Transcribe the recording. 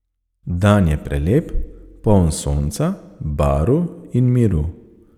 Dan je prelep, poln sonca, barv in miru.